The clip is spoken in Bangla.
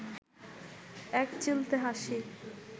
একচিলতে হাসি